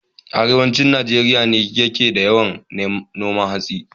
Arewacin Najeriya ne ke da yawan noman hatsi